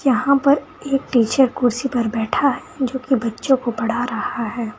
यहां पर एक टीचर कुर्सी पर बैठा है जो की बच्चों को पढ़ा रहा है।